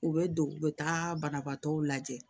U bɛ don u bɛ taa banabaatɔw lajɛ